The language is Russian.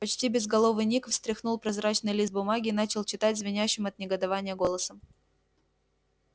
почти безголовый ник встряхнул прозрачный лист бумаги и начал читать звенящим от негодования голосом